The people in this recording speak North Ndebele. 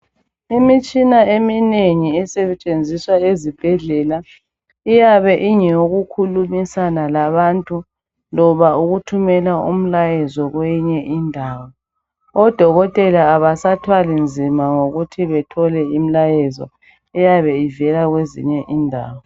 Imitshina eminengi esentshenziswa ezibhedlela iyabe ingeyokukhulumisana labantu loba ukuthumela umlayezo kweyinye indawo. Odokotela abasathwali nzima ngokuthi bethole imilayezo eyabe ivela kwezinye indawo.